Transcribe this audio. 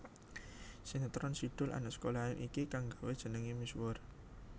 Sinetron Si Doel Anak Sekolahan iki kang nggawé jenengé misuwur